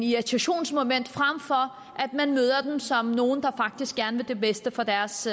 irritationsmoment frem for at man møder dem som nogle der faktisk gerne vil det bedste for deres